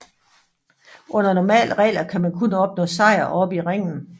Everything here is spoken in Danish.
Under normale regler kan man kun opnå sejr oppe i ringen